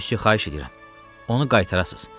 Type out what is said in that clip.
Müsyi xahiş eləyirəm, onu qaytarasız.